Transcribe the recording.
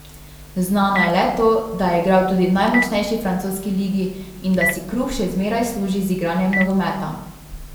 Znano je le to, da je igral tudi v najmočnejši francoski ligi in da si kruh še zmeraj služi z igranjem nogometa.